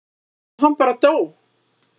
og hann bara dó.